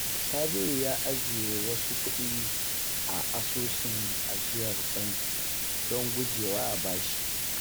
Sabiru ya ajiye wasu kuɗi a asusun ajiyar banki don gujewa bashi.